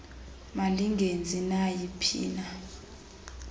malingenzi nayi phina